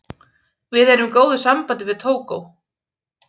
Við erum í góðu sambandi við Tógó.